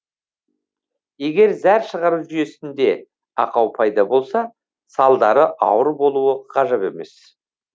егер зәр шығару жүйесінде ақау пайда болса салдары ауыр болуы ғажап емес